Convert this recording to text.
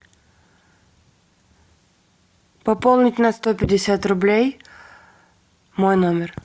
пополнить на сто пятьдесят рублей мой номер